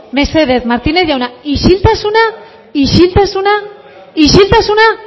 mesedez martínez jauna isiltasuna isiltasuna